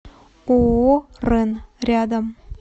ооо рэн рядом